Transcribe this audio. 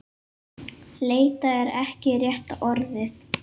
Leita er ekki rétta orðið.